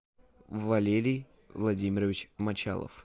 валерий владимирович мочалов